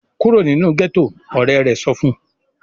"Kúrò nínú gẹ́tọ̀!", Ọ̀rẹ́ rẹ̀ sọ fun